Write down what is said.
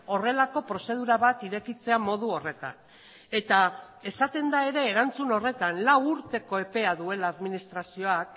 horrelako prozedura bat irekitzea modu horretan eta esaten da ere erantzun horretan lau urteko epea duela administrazioak